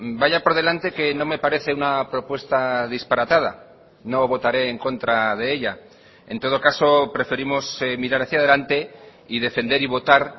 vaya por delante que no me parece una propuesta disparatada no votaré en contra de ella en todo caso preferimos mirar hacia delante y defender y votar